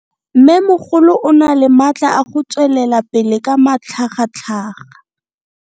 Mmemogolo o na le matla a go tswelela pele ka matlhagatlhaga.